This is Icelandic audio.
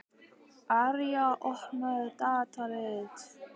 Arja, opnaðu dagatalið mitt.